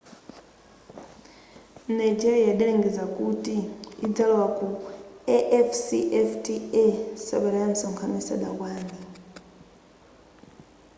nigeria idalengeza kuti idzalowa ku afcfta sabata ya msonkhano isadakwane